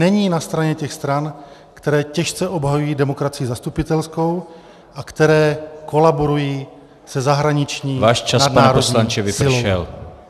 Není na straně těch stran, které těžce obhajují demokracii zastupitelskou a které kolaborují se zahraniční nadnárodní silou.